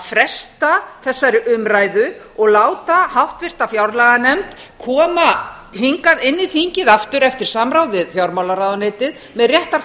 fresta þessari umræðu og láta háttvirta fjárlaganefnd koma hingað inn í þingið aftur eftir samráð við fjármálaráðuneytið með réttar